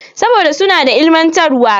Saboda suna da ilimantarwa.